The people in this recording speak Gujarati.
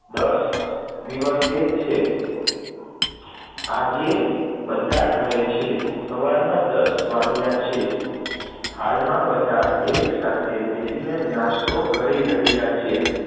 દસ દિવસે છે, આજે બધા ઘરે છે, સવારના દસ વાગ્યા છે, હાલમાં બધા એક સાથે બેસીને નાસ્તો કરી રહ્યા છે,